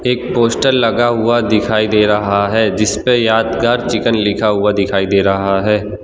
एक पोस्टर लगा हुआ दिखाई दे रहा है जिस पे यादगार चिकन लिखा हुआ दिखाई दे रहा है।